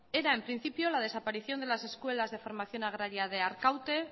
era en principio la desaparición de las escuelas de formación agraria de arkaute